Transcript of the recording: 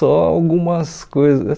Só algumas coisas.